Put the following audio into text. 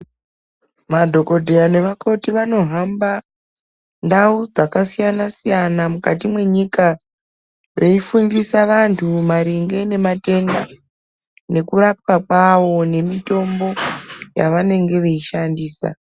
Madhokodheya nevakoti vanohamba ndau dzakasiyanasiyana mukati mwenyika veifundisa vanhu maringe nematenda nekurapwa kawo nemitombo yavanenge veishandisa.